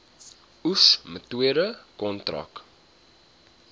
oes metode kontrak